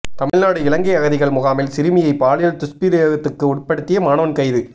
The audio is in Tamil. தமிழ்நாடு இலங்கை அகதிகள் முகாமில் சிறுமியை பாலியல் துஷ்பிரயோகத்துக்கு உட்படுத்திய மாணவன் கைது